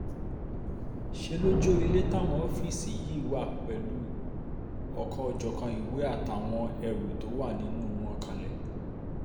ṣe ló jọ ilé táwọn ọ́fíìsì yìí wà pẹ̀lú ọ̀kan-ò-jọ̀kan ìwé àtàwọn ẹrù tó wà nínú wọn kanlẹ̀